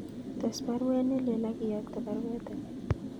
Tes baruet nelelach akiyokte baruet ake